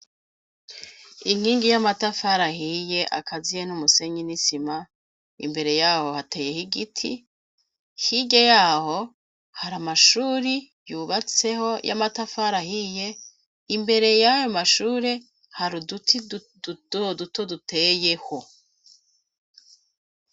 Inkingi y'amatafariahiye akaziye n'umusenyi n'isima imbere yaho hateyeho igiti hige yaho hari amashuri yubatseho y'amatafari ahiye imbere yayo mashuri hari uduti uoduto duteyeho.